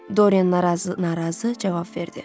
Doryen narazı-narazı cavab verdi.